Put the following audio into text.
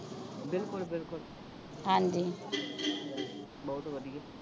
ਬਿਲਕੁਲ ਬਿਲਕੁਲ ਹਾਂਜੀ ਬਹੁਤ ਵਧੀਆ